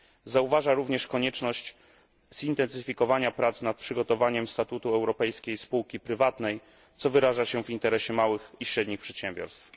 Zauważam również konieczność zintensyfikowania prac nad przygotowaniem statutu europejskiej spółki prywatnej, co wyraża się w interesie małych i średnich przedsiębiorstw.